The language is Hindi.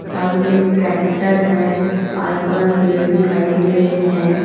पास में एक ट्रैक्टर है आस पास पेड़ दिखाई दे रहे हैं।